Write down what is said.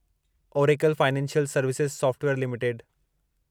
Oracle financial services software limited